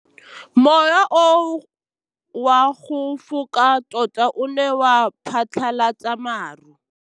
Mowa o wa go foka tota o ne wa phatlalatsa maru.